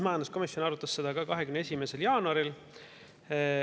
Majanduskomisjon arutas seda ka 21. jaanuaril.